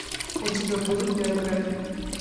у тебя будет биография